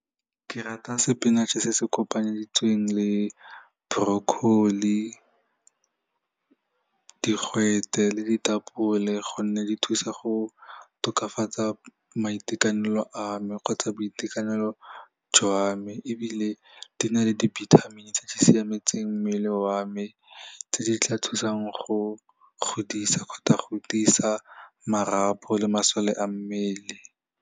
Ke rata spinach-e se se kopanetsweng le broccoli, digwete le ditapole gonne di thusa go tokafatsa maitekanelo a me kgotsa boitekanelo jwa me ebile di na le dibithamini tse di siametseng mmele wa me tse di tla thusang go godisa kgotsa go tiisa marapo le masole a mmele.